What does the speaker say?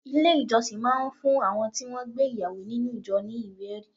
Ilé ìjọsìn máa ń fún àwọn tí wọn gbé ìyàwó nínú ìjọ ní ìwé-ẹri.